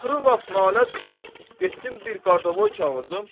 Axırı lap naləc qalıb getdim bir qardavoy çağırdım.